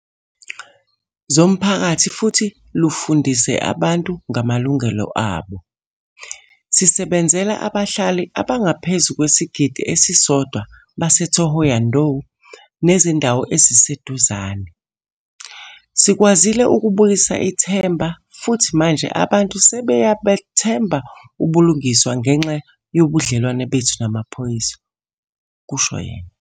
."zomphakathi futhi lufundise abantu ngamalungelo abo. Sisebenzela abahlali abangaphezu kwesigidi esisodwa base-Thohoyandou nezindawo eziseduzane. Sikwazile ukubuyisa ithemba futhi manje abantu sebeya buthemba ubulungiswa ngenxa yobudlelwane bethu namaphoyisa," kusho yena.